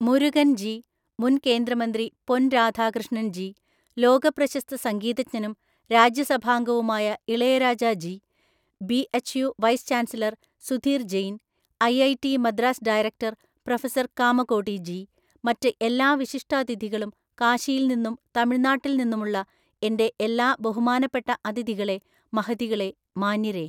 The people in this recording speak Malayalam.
മുരുകൻ ജി, മുൻ കേന്ദ്രമന്ത്രി പൊൻ രാധാകൃഷ്ണൻ ജി, ലോകപ്രശസ്ത സംഗീതജ്ഞനും രാജ്യാസഭാംഗവുമായ Ilaiyaraaja ji, BHU vice chancellor Sudhir Jain, IIT Madras director professor Kamakoti ji, മറ്റ് എല്ലാ വിശിഷ്ടാതിഥികളും കാശിയിൽ നിന്നും തമിഴ്നാട്ടിൽ നിന്നുമുള്ള എന്റെ എല്ലാ ബഹുമാനപ്പെട്ട അതിഥികളേ മഹതികളേ, മാന്യരേ,